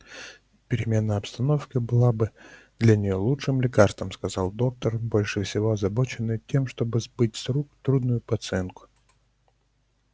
перемена обстановки была бы для неё лучшим лекарством сказал доктор больше всего озабоченный тем чтобы сбыть с рук трудную пациентку